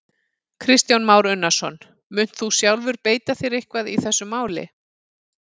Kristján Már Unnarsson: Munt þú sjálfur beita þér eitthvað í þessu máli?